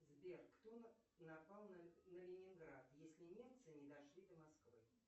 сбер кто напал на ленинград если немцы не дошли до москвы